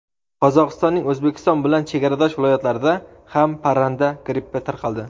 Qozog‘istonning O‘zbekiston bilan chegaradosh viloyatlarida ham parranda grippi tarqaldi.